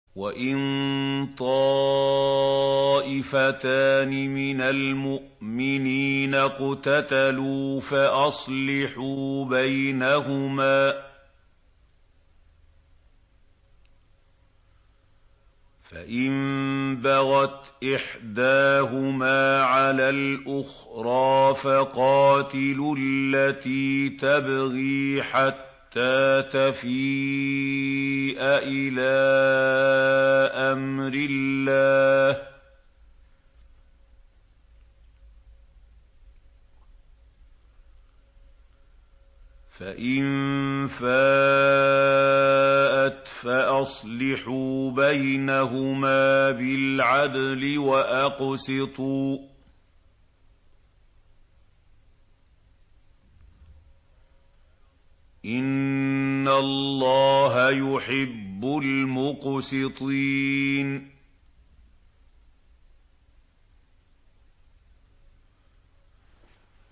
وَإِن طَائِفَتَانِ مِنَ الْمُؤْمِنِينَ اقْتَتَلُوا فَأَصْلِحُوا بَيْنَهُمَا ۖ فَإِن بَغَتْ إِحْدَاهُمَا عَلَى الْأُخْرَىٰ فَقَاتِلُوا الَّتِي تَبْغِي حَتَّىٰ تَفِيءَ إِلَىٰ أَمْرِ اللَّهِ ۚ فَإِن فَاءَتْ فَأَصْلِحُوا بَيْنَهُمَا بِالْعَدْلِ وَأَقْسِطُوا ۖ إِنَّ اللَّهَ يُحِبُّ الْمُقْسِطِينَ